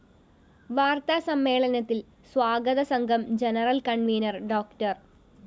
വാര്‍ത്താ സമ്മേളനത്തില്‍ സ്വാഗതസംഘം ജനറൽ കണ്‍വീനര്‍ ഡോ